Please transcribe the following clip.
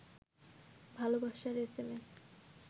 ভালবাসার এসএমএস